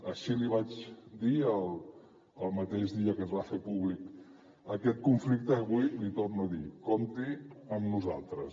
així l’hi vaig dir el mateix dia que es va fer públic aquest conflicte i avui l’hi torno a dir compti amb nosaltres